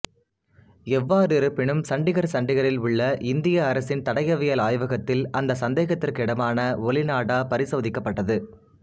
எவ்வாறிருப்பினும் சண்டிகர்சண்டிகரில் உள்ள இந்திய அரசின் தடயவியல் ஆய்வகத்தில் அந்த சந்தேகத்திற்கிடமான ஒலிநாடா பரிசோதிக்கப்பட்டது